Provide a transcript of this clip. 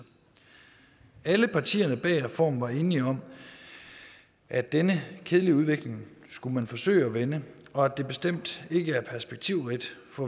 alle partierne bag reformen var enige om at denne kedelige udvikling skulle man forsøge at vende og at det bestemt ikke er perspektivrigt